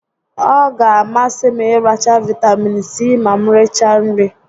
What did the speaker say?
Ọ ga a masị m ịracha Vaịtamiin Sii ma m richaa nri